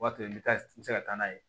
O b'a to i bɛ taa i bɛ se ka taa n'a ye